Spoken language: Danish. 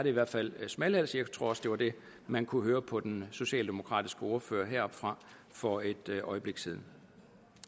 i hvert fald smalhals jeg tror også det var det man kunne høre på den socialdemokratiske ordfører heroppefra for et øjeblik siden